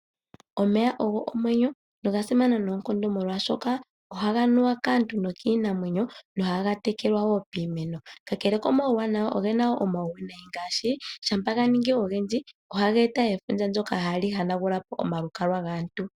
Omeya ogo omwenyo, noga simana noonkondo molwaashoka ohaga nuwa kaantu nokiinamwenyo, nohaga tekelwa wo piimeno. Kakele komawuwanawa, oge na wo omawuwinayi ngaashi; shampa ga ningi ogendji, ohaga eta efundja ndyoka hali hanagula po omalukalwa gaantu.